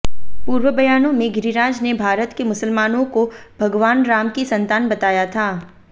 पूर्व बयानों में गिरिराज ने भारत के मुसलमानों को भगवान राम की संतान बताया था